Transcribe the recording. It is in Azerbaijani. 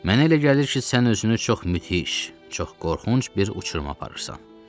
Mənə elə gəlir ki, sən özünü çox müthiş, çox qorxunc bir uçuruma aparırsan.